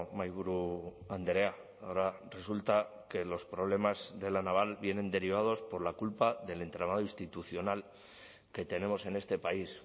mahaiburu andrea ahora resulta que los problemas de la naval vienen derivados por la culpa del entramado institucional que tenemos en este país